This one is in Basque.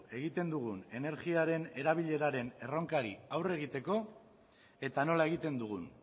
egiten dugun energiaren erabileraren erronkari aurre egiteko eta nola egiten dugun